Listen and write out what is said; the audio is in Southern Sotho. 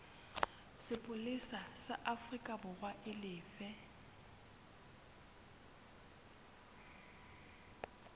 sepolesa sa aforikaborwa e lefe